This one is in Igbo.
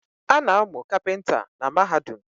Ana amu kapinta na Mahadum